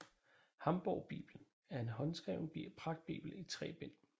Hamborgbibelen er en håndskreven pragtbibel i tre bind